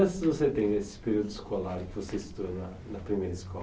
você tem desse período escolar que você estudou na na primeira escola?